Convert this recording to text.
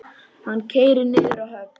Hann keyrir niður að höfn.